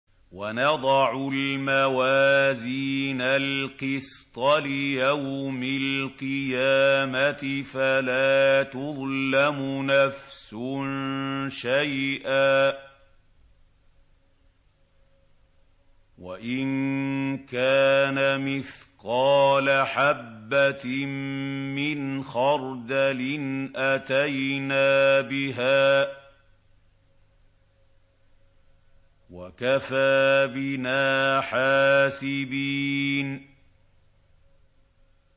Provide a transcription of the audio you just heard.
وَنَضَعُ الْمَوَازِينَ الْقِسْطَ لِيَوْمِ الْقِيَامَةِ فَلَا تُظْلَمُ نَفْسٌ شَيْئًا ۖ وَإِن كَانَ مِثْقَالَ حَبَّةٍ مِّنْ خَرْدَلٍ أَتَيْنَا بِهَا ۗ وَكَفَىٰ بِنَا حَاسِبِينَ